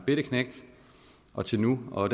bette knægt og til nu og